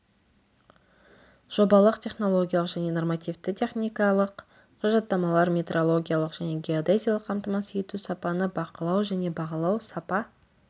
жобалық технологиялық және нормативті техникалық құжаттамалар метрологиялық және геодезиялық қамтамасыз ету сапаны бақылау және бағалау сапа